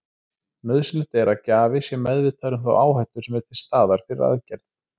Nauðsynlegt er að gjafi sé meðvitaður um þá áhættu sem er til staðar fyrir aðgerð.